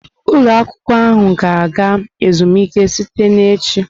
Ụlọ akwụkwọ ahụ ga-aga ezumike site na echi.